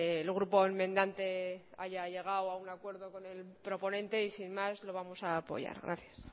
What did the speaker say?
el grupo enmendante haya llegado a un acuerdo con el proponente y sin más lo vamos a apoyar gracias